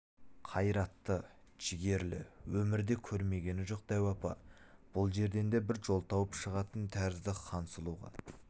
қайратты жігерлі өмірде көрмегені жоқ дәу апа бұл жерден де бір жол тауып шығатын тәрізді хансұлуға